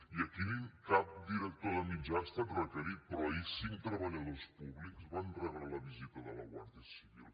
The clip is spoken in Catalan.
i aquí cap director de mitjà ha estat requerit però ahir cinc treballadors públics van rebre la visita de la guàrdia civil